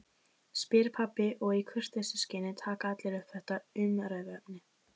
spyr pabbi og í kurteisisskyni taka allir upp þetta umræðuefni